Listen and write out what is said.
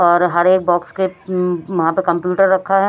और हरे बॉक्स के अं वहां पर कम्प्यूटर रखा है।